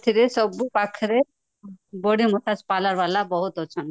ସେଥିରେ ସବୁ ପାଖରେ body massage parlor ଵାଲା ବହୁତ ଅଛନ୍ତି